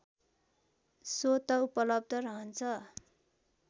स्वतः उपलब्ध रहन्छ